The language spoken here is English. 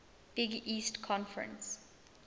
big east conference